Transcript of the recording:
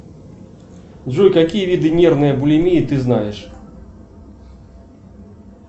джой какие виды нервной булимии ты знаешь